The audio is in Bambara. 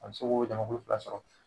A be se k'o jama kulu fila sɔrɔ